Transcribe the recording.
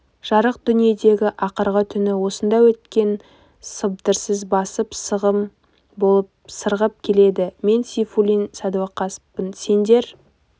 жарық дүниедегі ақырғы түні осында өткен сыбдырсыз басып сағым болып сырғып келеді мен сейфуллин садуақаспын сендер